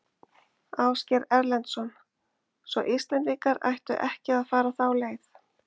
Ásgeir Erlendsson: Svo Íslendingar ættu ekki að fara þá leið?